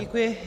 Děkuji.